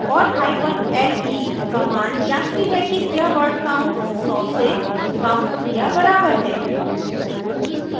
* और hyphen le command जाँचती है कि le word count सौ से कम या बराबर है